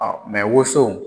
woson